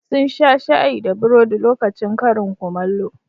Sun sha shayi da burodi lokacin karin kumallo.